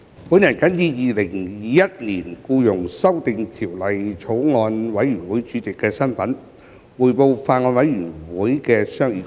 主席，我謹以《2021年僱傭條例草案》委員會主席的身份，匯報法案委員會的商議工作。